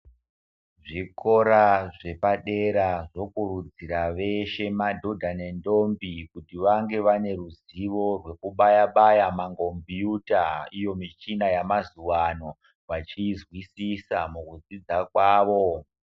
Zvikora zvepadera zvokurudzira veshe madhodha nendombi kuti vange vane ruzivo rwekubaya baya mangombiyuta iyo michina yamazuwa ano vachiizwisisa mukudzidza kwavo.